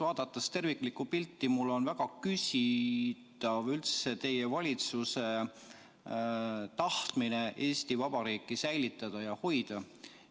Vaadates terviklikku pilti, on minu meelest väga küsitav üldse teie valitsuse tahtmine Eesti Vabariiki säilitada ja hoida.